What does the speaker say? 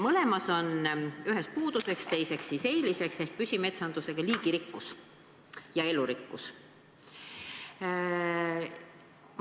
Mõlemas loetelus on – ühes puuduseks, teises eeliseks – mõju liigirikkusele, elurikkusele.